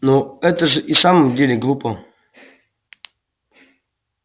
но это же и в самом деле глупо